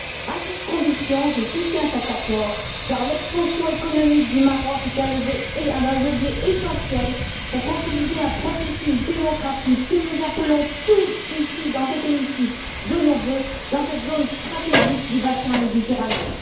À cette condition, je soutiens cet accord, car l'expansion économique du Maroc est un levier essentiel pour consolider un processus démocratique que nous appelons tous, ici dans cet hémicycle, de nos vœux dans cette zone stratégique du bassin méditerranéen.